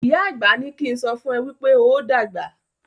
ìyá àgbà ní kín sọfún e wípé óo dàgbà.